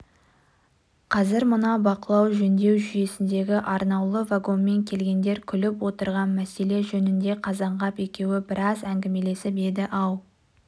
қазір мына бақылау-жөндеу жүйесіндегі арнаулы вагонмен келгендер күліп отырған мәселе жөнінде қазанғап екеуі біраз әңгімелесіп еді-ау